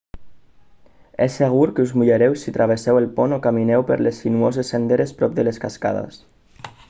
és segur que us mullareu si travesseu el pont o camineu per les sinuoses senderes prop de les cascades